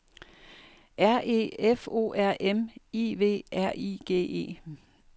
R E F O R M I V R I G E